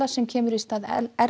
sem kemur í stað